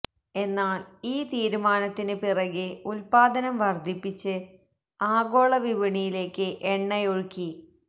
എന്നാല് ഈ തീരുമാനത്തിന് പിറകെ ഉത്പാദനം വര്ധിപ്പിച്ച് ആഗോള വിപണിയിലേക്ക് എണ്ണയൊഴുക്കി